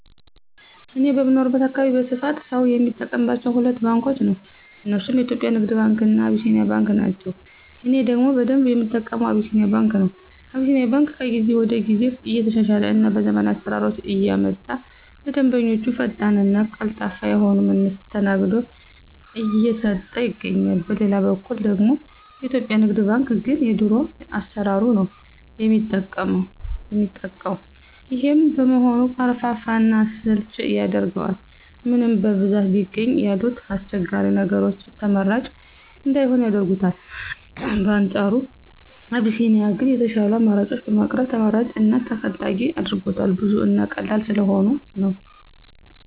እኔ በምኖርበት አካባቢ በስፋት ሰው የሚጠቀማቸው ሁለት ባንኮችን ነው። እነርሱም የኢትዮጵያ ንግድ ባንክ እና አቢሲኒያ ባንክ ናቸው። እኔ ደግሞ በደንብ የምጠቀመው አቢሲኒያ ባንክ ነው። አቢሲኒያ ባንክ ከጊዜ ጊዜ እየተሻሻለ እና ዘመናዊ አሰራሮችን እያመጣ ለደንበኞቹ ፈጣን እና ቀልጣፋ የሆነ መስተንግዶ እየሰጠ ይገኛል። በሌላ በኩል ደግሞ የኢትዮጵያ ንግድ ባንክ ግን የድሮ አሰራሩን ነው የሚጠቀው። ይሄም በመሆኑ ቀርፋፋ እና አሰልቺ ያደርገዋል። ምንም በብዛት ቢገኝ ያሉት አስቸጋሪ ነገሮች ተመራጭ እንዳይሆን ያደርጉታል። በአንፃሩ አቢሲኒያ ግን የሻሉ አማራጮችን በማቅረብ ተመራጭ እና ተፈላጊ አድርጎታል። ብዙ እና ቀላል ስለሆኑ ነው።